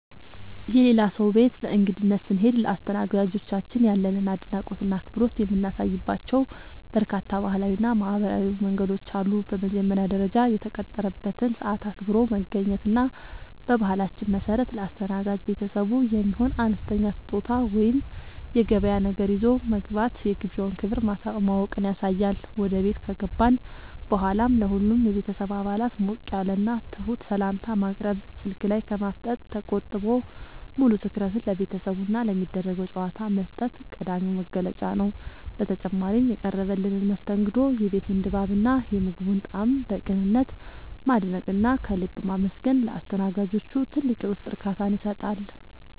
የሌላ ሰው ቤት በእንግድነት ስንሄድ ለአስተናጋጆቻችን ያለንን አድናቆትና አክብሮት የምናሳይባቸው በርካታ ባህላዊና ማኅበራዊ መንገዶች አሉ። በመጀመሪያ ደረጃ፣ የተቀጠረበትን ሰዓት አክብሮ መገኘት እና በባህላችን መሠረት ለአስተናጋጅ ቤተሰቡ የሚሆን አነስተኛ ስጦታ ወይም የገበያ ነገር ይዞ መግባት የግብዣውን ክብር ማወቅን ያሳያል። ወደ ቤት ከገባን በኋላም ለሁሉም የቤተሰብ አባላት ሞቅ ያለና ትሑት ሰላምታ ማቅረብ፣ ስልክ ላይ ከማፍጠጥ ተቆጥቦ ሙሉ ትኩረትን ለቤተሰቡና ለሚደረገው ጨዋታ መስጠት ቀዳሚው መገለጫ ነው። በተጨማሪም፣ የቀረበልንን መስተንግዶ፣ የቤቱን ድባብና የምግቡን ጣዕም በቅንነት ማድነቅና ከልብ ማመስገን ለአስተናጋጆቹ ትልቅ የውስጥ እርካታን ይሰጣል።